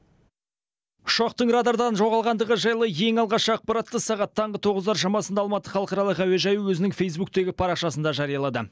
ұшақтың радардан жоғалғандығы жайлы ең алғаш ақпаратты сағат таңғы тоғыздар шамасында алматы халықаралық әуежайы өзінің фейзбуктегі парақшасында жариялады